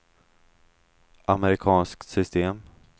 amerikanskt system